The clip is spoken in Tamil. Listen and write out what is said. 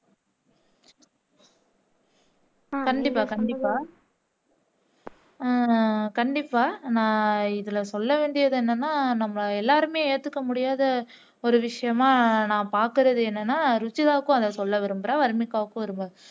கண்டிப்பா கண்டிப்பா உம் கண்டிப்பா நான் இதுல சொல்ல வேண்டியது என்னன்னா நம்ம எல்லாருமே ஏத்துக்க முடியாத ஒரு விசயமா நான் பாக்குறது என்னன்னா ருஷிதாக்கும் அதை சொல்ல விரும்புறேன் வர்னிகாவுக்கும் விரும்புறேன்